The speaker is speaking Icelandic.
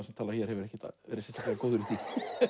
sem talar hér hefur ekkert verið sérstaklega góður í því